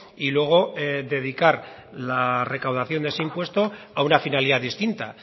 y luego dedicar la recaudación de ese impuesto a una finalidad distinta